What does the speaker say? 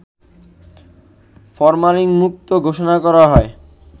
ফরমালিনমুক্ত ঘোষণা করা হয়